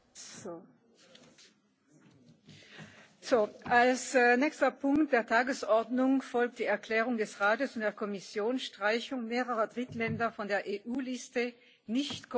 Als nächster Punkt der Tagesordnung folgt die Aussprache über die Erklärungen des Rates und der Kommission zur Streichung mehrerer Drittländer von der EU Liste nicht kooperativer Länder und Gebiete für Steuerzwecke